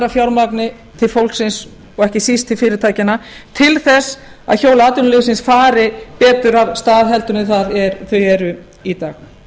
fjármagni til fólksins og ekki síst til fyrirtækjanna til þess að hjól atvinnulífsins fari betur af stað heldur en þau eru í dag